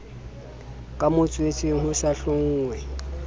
ka motswetseng ho sa hlonngwe